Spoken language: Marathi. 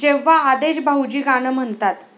जेव्हा आदेश भाऊजी गाणं म्हणतात...